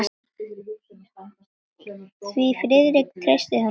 Því Friðrik treysti honum ekki.